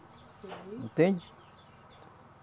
Sei. Entende?